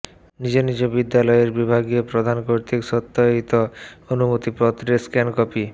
নিজ নিজ বিশ্ববিদ্যালয়ের বিভাগীয় প্রধান কর্তৃক সত্যায়িত অনুমতিপত্রের স্ক্যান কপি